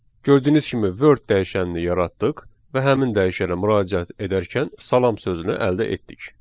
Gördüyünüz kimi Word dəyişənini yaratdıq və həmin dəyişənə müraciət edərkən salam sözünü əldə etdik.